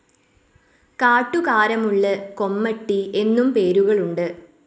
കാട്ടുകാരമുള്ള്, കൊമട്ടി എന്നും പേരുകളുണ്ട്.